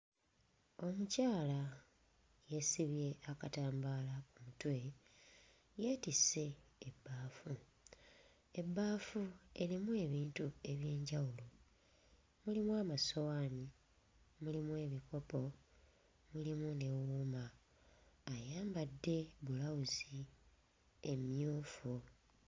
Omukyala yeesibye akatambaala ku mutwe, yeetisse ebbaafu. Ebbaafu erimu ebintu eby'enjawulo; mulimu amasowaani, mulimu ebikopo, mulimu ne wuma. Ayambadde bulawuzi emmyufu.